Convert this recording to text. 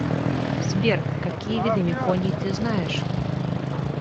сбер какие виды меконий ты знаешь